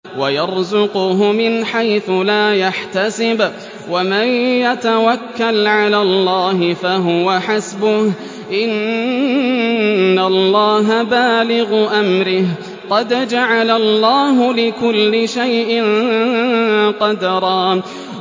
وَيَرْزُقْهُ مِنْ حَيْثُ لَا يَحْتَسِبُ ۚ وَمَن يَتَوَكَّلْ عَلَى اللَّهِ فَهُوَ حَسْبُهُ ۚ إِنَّ اللَّهَ بَالِغُ أَمْرِهِ ۚ قَدْ جَعَلَ اللَّهُ لِكُلِّ شَيْءٍ قَدْرًا